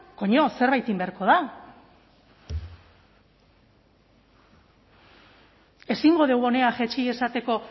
coño zerbait egin beharko da ezingo dugu hona jaitsi esateko